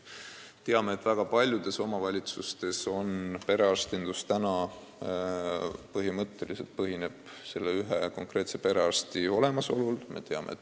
Teame, et väga paljudes omavalitsustes hoiab perearstindust ülal üksainus konkreetne perearst.